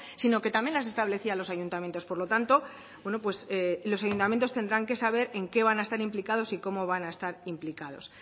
sino que también las establecía a los ayuntamientos por lo tanto bueno pues los ayuntamientos tendrán que saber en qué van a estar implicados y cómo van a estar implicados